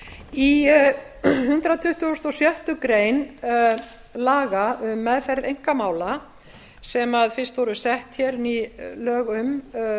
í hundrað tuttugasta og sjöttu grein laga um meðferð einkamála sem fyrst voru sett hér ný lög um